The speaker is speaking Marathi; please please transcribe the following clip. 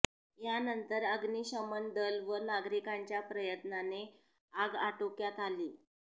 यानंतर अग्निशमन दल व नागरिकांच्या प्रयत्नाने आग आटोक्मयात आली